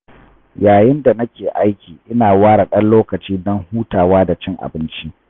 Yayin da nake aiki ina ware ɗan lokaci don hutawa da cin abinci.